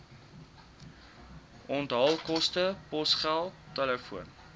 onthaalkoste posgeld telefoon